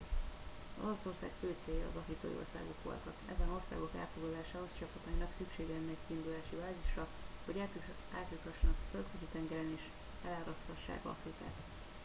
olaszország fő célja az afrikai országok voltak ezen országok elfoglalásához csapatainak szüksége lenne egy kiindulási bázisra hogy átjuthassanak a földközi tengeren és eláraszthassák afrikát